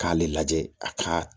K'ale lajɛ a ka